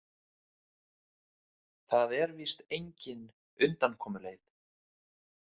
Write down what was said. Það er víst engin undankomuleið.